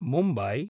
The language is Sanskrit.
मुम्बई